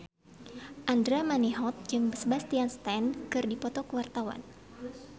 Andra Manihot jeung Sebastian Stan keur dipoto ku wartawan